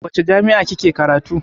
A wace jami'a kike karatu?